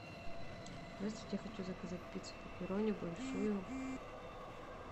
здравствуйте я хочу заказать пиццу пепперони большую